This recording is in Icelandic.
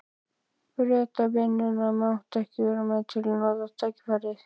Bretavinnuna, mátti til með að nota tækifærið.